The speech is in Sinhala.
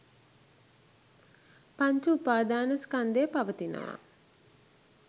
පංච උපාදාන ස්කන්ධය පවතිනවා